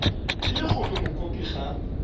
e le gore mokopi ga